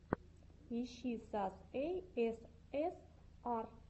ищи сас эй эс эс ар